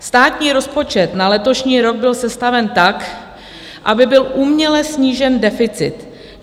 Státní rozpočet na letošní rok byl sestaven tak, aby byl uměle snížen deficit.